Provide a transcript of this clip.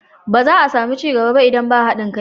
Ba za a sami ci gaba ba idan ba haɗin kai.